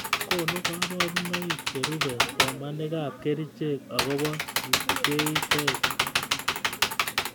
Konu koborunoik cherube somanikab kerchek akobo kipkeitet